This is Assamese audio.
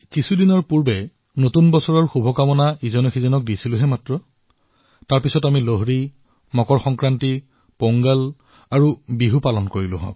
কিছু দিনৰ আগেয়ে আমি এজনে আনজনক শুভেচ্ছা জ্ঞাপন কৰিছিলো লোহৰী পালন কৰিলো মকৰ সংক্ৰান্তি পালন কৰিলো পোংগল বিহু পালন কৰিলো